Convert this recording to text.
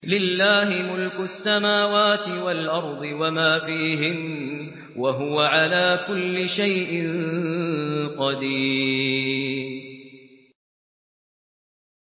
لِلَّهِ مُلْكُ السَّمَاوَاتِ وَالْأَرْضِ وَمَا فِيهِنَّ ۚ وَهُوَ عَلَىٰ كُلِّ شَيْءٍ قَدِيرٌ